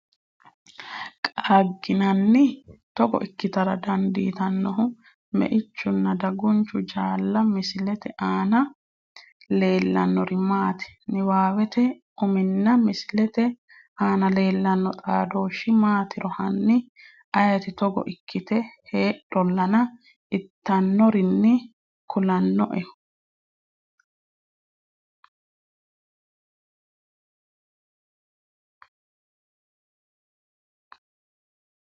qaagginanni? Togo ikkitara dandiitinohu meichunna dagunchu jaalla Misilete aana leellannori maati? Niwaawete uminna misilete aana leellanno xaadooshshi maatiro hanni ayeeti Togo ikkite heedhollana ittannorinni kulannoehu?